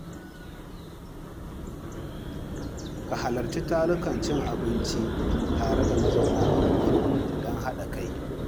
Ka halarci tarukan cin abinci tare da mazauna unguwarku don haɗa kai.